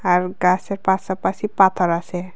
আর গাসের পাশে পাশে পাথর আসে।